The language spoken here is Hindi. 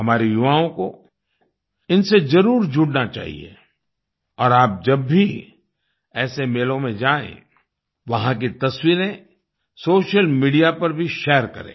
हमारे युवाओं को इनसे जरुर जुड़ना चाहिए और आप जब भी ऐसे मेलों में जाएं वहां की तस्वीरें सोशल मीडिया पर भी शेयर करें